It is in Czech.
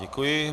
Děkuji.